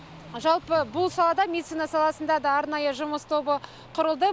жалпы бұл салада медицина саласында да арнайы жұмыс тобы құрылды